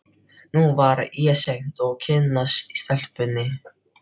Nú var of seint að kynnast stelpunni.